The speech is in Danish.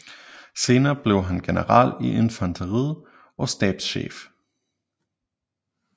Senere blev han general i infanteriet og stabschef